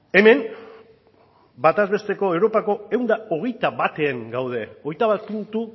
hemen bataz besteko europako ehun eta hogeita batean gaude hogeita bat puntu